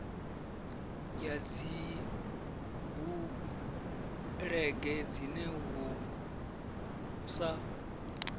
ya dzibulege dzine hu sa